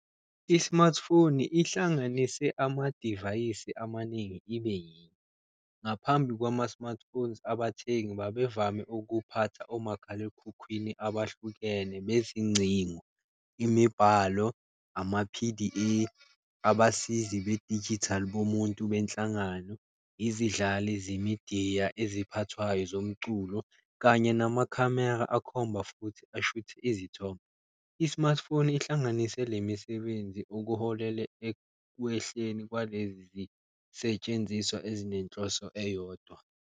I-smartphone ihlanganise amadivayisi amaningi ibe yinye, ngaphambi kwama-smartphones abathengi babevame ukuphatha omakhalekhukhwini abahlukene bezincingo, imibhalo, ama-P_D_A abasizi bedijithali bomuntu benhlangano. Izidlali zemidiya eziphathwayo zomculo kanye namakhamera akhomba futhi ashuthe izithombe, i-smartphone ihlanganise le misebenzi okuholele ekwehleni kwalezi zisetshenziswa ezinenhloso eyodwa.